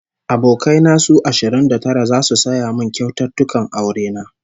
Abokai na su ashirin da tara zasu saya min kyaututtukan aure na